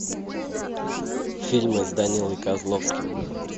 фильмы с данилой козловским